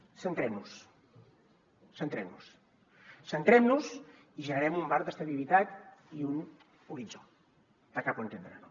centrem nos centrem nos centrem nos i generem un marc d’estabilitat i un horitzó de cap on hem d’anar